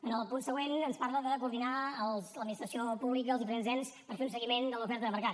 en el punt següent ens parlen de coordinar l’administració pública els diferents ens per fer un seguiment de l’oferta de mercat